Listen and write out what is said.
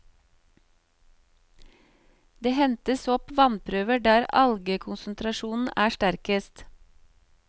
Det hentes opp vannprøver der algekonsentrasjonen er sterkest.